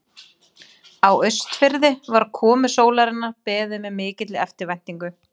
Á Austurfirði var komu sólarinnar beðið með mikilli eftirvæntingu.